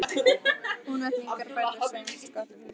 Húnvetningar færðu Svein skotta til þings.